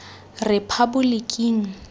rephaboliking